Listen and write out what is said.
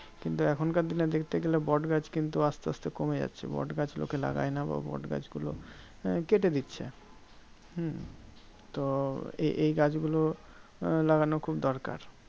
কিন্তু এখনকার দিনে দেখতে গেলে বটগাছ কিন্তু আসতে আসতে কমে যাচ্ছে। বটগাছ লোকে লাগায়না বা বটগাছগুলো আহ কেটে দিচ্ছে। হম তো এই এই গাছগুলো আহ লাগানো খুব দরকার।